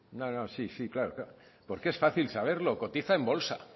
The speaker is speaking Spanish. no no sí sí claro claro porque es fácil saberlo cotiza en bolsa